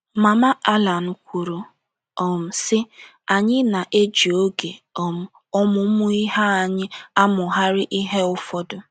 Mama Alan kwuru, um sị: “ Anyị na - eji oge um ọmụmụ ihe anyị amụgharị ihe ụfọdụ.